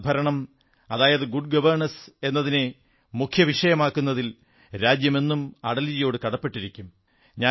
സദ്ഭരണം അതായത് good governance എന്നതിനെ മുഖ്യ വിഷയമാക്കുന്നതിൽ രാജ്യം എന്നും അടൽജിയോടു കടപ്പെട്ടിരിക്കും